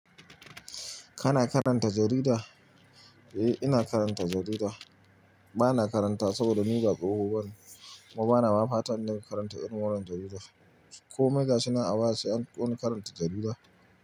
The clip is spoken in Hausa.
Kana karanta jarida? Eh, ina karanta jarida. Bana karanta wa saboda ni ga tsoho bane, kuma bana fatan nayi karanta irin wannan jarida. Komai gashi nan a wa sai anfi wani karanta jarida?